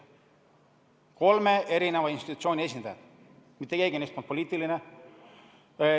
Need olid kolme eri institutsiooni esindajad, mitte keegi neist polnud poliitiline.